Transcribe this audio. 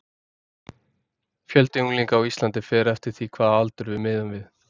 Fjöldi unglinga á Íslandi fer eftir því hvaða aldur við miðum við.